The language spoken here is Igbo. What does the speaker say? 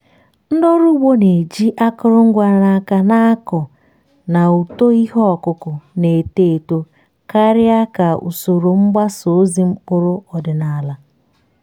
ndị ọrụ ugbo na-eji akụrụngwa n’aka na-akọ na uto ihe ọkụkụ na-eto eto karịa ka usoro mgbasa ozi mkpụrụ ọdịnala.